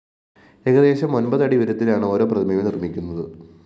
ഏകദേശം ഒന്‍പത് അടി ഉയരത്തിലാണ് ഓരോ പ്രതിമയും നിര്‍മ്മിക്കുന്നത്